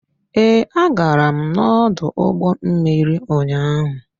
Ee, agara m n'ọdụ ụgbọ mmiri ụnyaahụ.